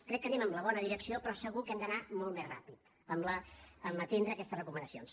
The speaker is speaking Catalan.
crec que anem en la bona direcció però segur que hem d’anar molt més ràpid en atendre aquestes recomanacions